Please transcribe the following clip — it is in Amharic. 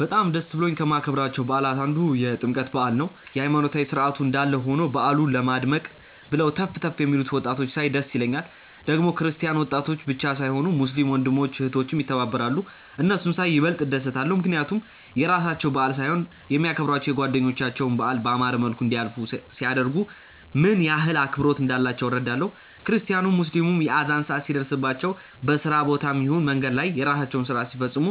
በጣም ደስ ብሎኝ ከማከብራቸው በዓላት አንዱ የጥምቀት በዓል ነው። የሃይማኖታዊ ስርዓቱ እንዳለ ሆኖ በዓሉ ለማድመቅ ብለው ተፍ ተፍ የሚሉትን ወጣቶች ሳይ ደስ ይለኛል። ደግሞ ክርስቲያን ወጣቶች ብቻ ሳይሆኑ ሙስሊም ወንድም እህቶችም ይተባበራሉ። እነሱን ሳይ ይበልጥ እደሰታለው፣ ምክንያቱም የራሳቸው በዓል ሳይሆን የሚያከብሯቸው የጓደኞቻቸውን በዓል ባማረ መልኩ እንዲያልፍ ሲያደርጉ፣ ምን ያህል አክብሮት እንዳላቸው እረዳለው። ክርስቲያኑም ሙስሊሞች የአዛን ሰአት ሲደርስባቸው በስራ ቦታም ይሁን መንገድ ላይ የራሳቸውን ስርአት ሲፈጽሙ